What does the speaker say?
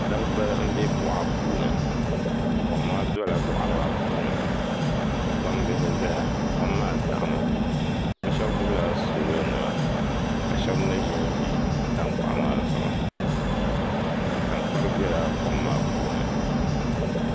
Dabba n bɛ boɣa puuni kom maa biɛla boɣa maa puuni ka gbambihi ʒɛya kom maa daɣami bi shab gbubila soobuli nima ka shab mii ʒinʒi tankpaɣu maa zuɣu tankpari biɛla kom maa puuni